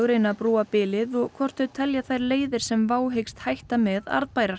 reyna að brúa bilið og hvort þau telja þær leiðir sem WOW hyggst hætta með arðbærar